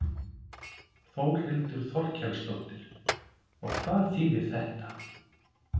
Eru það þá Þróttarar?